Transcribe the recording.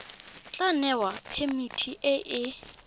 tla newa phemiti e e